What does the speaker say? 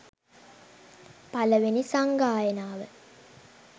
පලවෙනි සංගායනාව